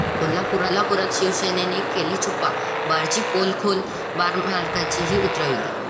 कोल्हापुरात शिवसैनिकांनी केली छुप्या बारची पोलखोल, बारमालकाचीही 'उतरवली'